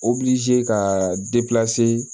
ka